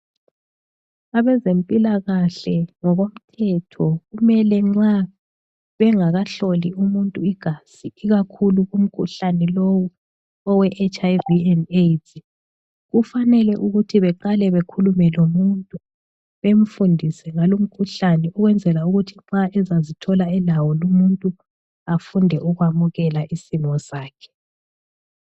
Abezempilakahle ngokomthetho kumele nxa bengakahloli umuntu igazi ikakhulu umkhuhlane lowu oweHIV and AIDS , kufanele ukuthi beqale bekhulume lomuntu bemfundise ngalo umkhuhlane ukwenzela ukuthi nxa engazithola elawo lumuntu afunde ukwamukela isimo sakhe.